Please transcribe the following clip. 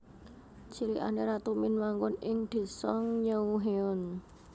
Cilikane Ratu Min manggon ing Désa Neunghyeon